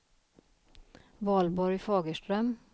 Valborg Fagerström